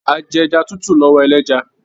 A ẹja tútù lọwọ ẹlẹja.